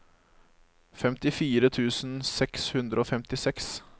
femtifire tusen seks hundre og femtiseks